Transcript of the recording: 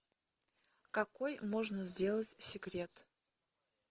какой можно сделать секрет